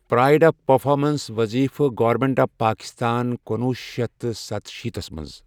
Pride of performance وٕظیٖفہٕ government of Pakistan کنُوہ شیتھ ستَھ شیٖتس مٕنٛز.